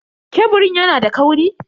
Keburin yana da kauri?